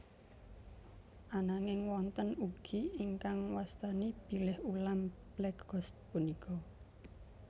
Ananging wonten ugi ingkang wastani bilih ulam black ghost punika